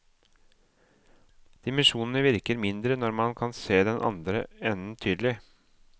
Dimensjonene virker mindre når man kan se den andre enden tydelig.